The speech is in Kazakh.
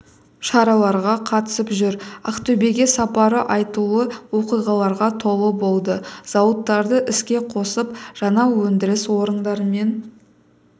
шараларға қатысып жүр ақтөбеге сапары айтулы оқиғаларға толы болды зауыттарды іске қосып жаңа өндіріс орындарымен